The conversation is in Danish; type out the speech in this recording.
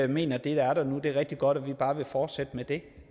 mener at det der er der nu er rigtig godt og at vi bare vil fortsætte med det